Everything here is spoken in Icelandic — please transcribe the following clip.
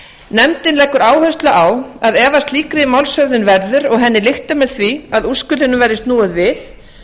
nefndin leggur áherslu á að ef af slíkri málshöfðun verður og henni lyktar með því að úrskurðinum verði snúið við